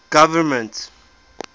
government